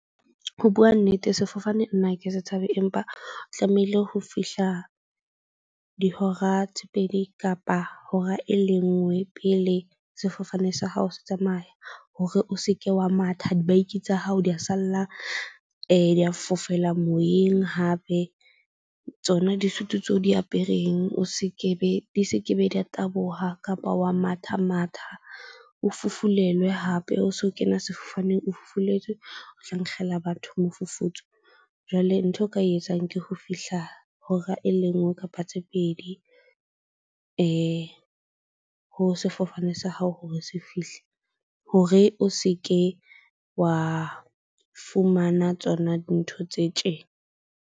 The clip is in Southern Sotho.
Ho bua nnete, sefofane nna ke se tshabe, empa tlamehile ho fihla dihora tse pedi kapa hora e le nngwe pele sefofane sa hao se tsamaya. Hore o se ke wa matha dibaki tsa hao di ya salla fofela moyeng hape. Tsona disutu tseo o di apereng, o se ke be di se ke be di ya taboha, kapa wa matha matha o fufulelwe hape o so kene sefofaneng O fufuletswe. O tla nkgela batho mofufutso. Jwale ntho eo ka e etsang ke ho fihla hora e le nngwe kapa tse pedi ho sefofane sa hao hore se fihle hore o se ke wa fumana tsona dintho tse tjena.